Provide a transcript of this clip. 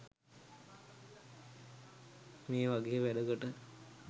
මේ වගේ වැඩකට